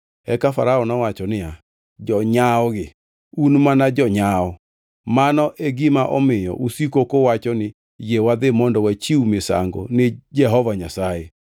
Eka Farao nowacho niya, “Jonyawogi un mana jonyawo! Mano e gima omiyo usiko kuwacho ni, ‘Yie wadhi mondo wachiw misango ni Jehova Nyasaye.’